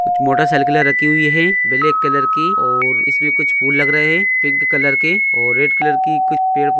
कुछ मोटरसाइकिल राखी हुइ है ब्लैक कलर की इसमें कुछ फुल लग रहे है पिंक और कुछ रेड कलर की--